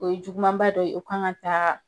O ye jugumanba dɔ ye, o kan ka taa